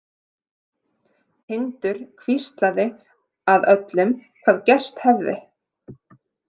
Tindur hvíslaði að öllum hvað gerst hefði.